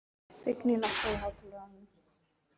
Vigný, lækkaðu í hátalaranum.